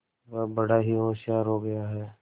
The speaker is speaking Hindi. वह बड़ा ही होशियार हो गया है